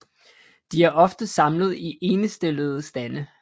De er ofte samlet i endestillede stande